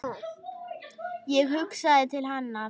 Ég hugsaði til hennar.